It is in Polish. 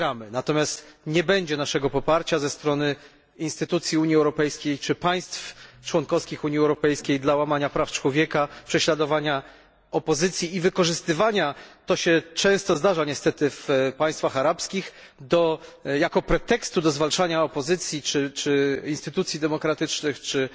Natomiast nie będzie naszego poparcia, ze strony instytucji Unii Europejskiej czy państw członkowskich Unii Europejskiej, dla łamania praw człowieka, prześladowania opozycji i to się często zdarza niestety w państwach arabskich wykorzystywania do zwalczania opozycji czy instytucji demokratycznych czy